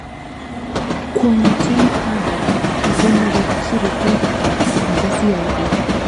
Kwonyotom Habel kokinerekchi ripot nepo CI A